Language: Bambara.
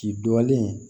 K'i dɔgɔlen